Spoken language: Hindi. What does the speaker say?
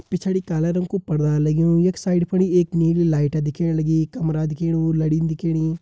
पिछड़ी काला रंग कु पड़वार लग्युं यख साइड फुण्ड एक नीली लाइट दिखेण लगीं कमरा दिखेणु लडिन दिखेणी।